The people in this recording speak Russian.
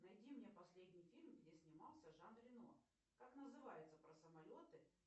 найди мне последний фильм где снимался жан рено как называется про самолеты